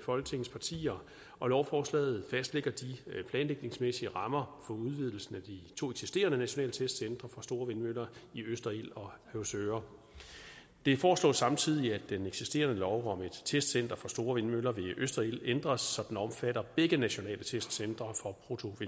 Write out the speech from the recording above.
folketingets partier og lovforslaget fastlægger de planlægningsmæssige rammer for udvidelsen af de to eksisterende nationale testcentre for store vindmøller i østerild og høvsøre det foreslås samtidig at den eksisterende lov om et testcenter for store vindmøller ved østerild ændres så den omfatter begge nationale testcentre for